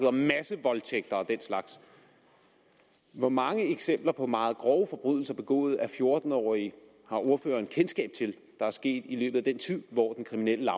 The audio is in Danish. om massevoldtægter og den slags hvor mange eksempler på meget grove forbrydelser begået af fjorten årige har ordføreren kendskab til der er sket i løbet af den tid hvor den kriminelle